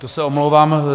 To se omlouvám.